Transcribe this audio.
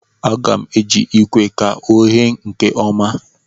A ga-m eji ikwe ka o ghee nkeọma